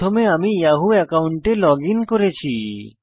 প্রথমে আমি ইয়াহু একাউন্টে লগইন করেছি